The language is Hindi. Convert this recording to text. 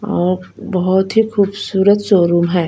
और बहोत ही खूबसूरत शोरूम है।